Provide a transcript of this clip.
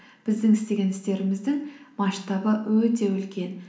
біздің істеген істеріміздің масштабы өте үлкен